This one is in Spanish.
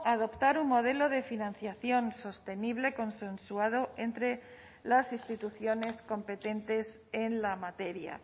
adoptar un modelo de financiación sostenible consensuado entre las instituciones competentes en la materia